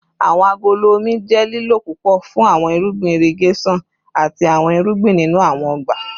Awọn agolo omi jẹ lilo pupọ fun awọn irugbin irigeson ati awọn irugbin ninu awọn ọgba